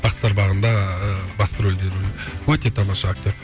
бақытсыздар бағында басты рольде өте тамаша актер